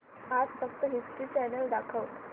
आज फक्त History Channel दाखव